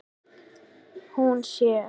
Hún sér